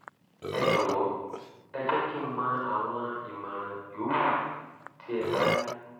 ẹ jọ̀wọ́ ẹ jẹ́ kí n mọ àwọn ìmọ̀ràn yòówù tí ẹ bá ní